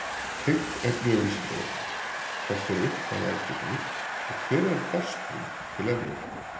Tengt efni á Vísindavefnum: Hvert er upphaf algebru og hvenær barst hún til Evrópu?